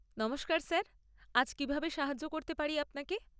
নমস্কার স্যার, আজ কীভাবে সাহায্য করতে পারি আপনাকে?